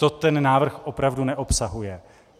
To ten návrh opravdu neobsahuje.